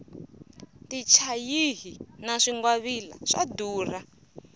tichayihi na swingwavila swa durha